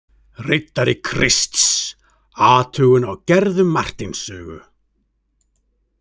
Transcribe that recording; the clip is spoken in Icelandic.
Riddari Krists: athugun á gerðum Marteins sögu.